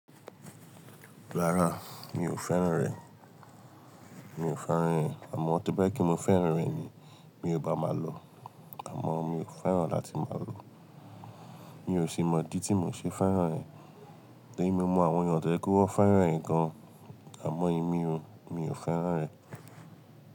Rárá mi ò fẹ́ràn rẹ̀, mi ò fẹ́ràn rẹ̀ àmọ́ tó bẹ́ kí mi fẹ́ràn rẹ̀ ni mi ò bá máa lo. Àmọ́ mi ò fẹ́ràn láti máa lo, mi ò sì mọ̀ dí tí mò ṣe fẹ́ràn rẹ̀. Èmi mọ àwọn ènìyàn tó jẹ́ kó wọ́n fẹ́ràn ẹ̀ gan an, àmọ́ èmí mi ò fẹ́ràn rẹ̀.